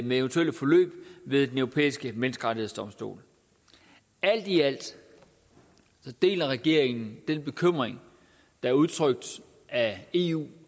med eventuelle forløb ved den europæiske menneskerettighedsdomstol alt i alt deler regeringen den bekymring der er udtrykt af eu